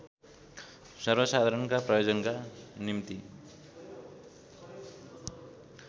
सर्वसाधारणका प्रयोजनका निम्ति